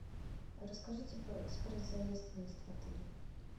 расскажите про экспресс заезд выезд в отеле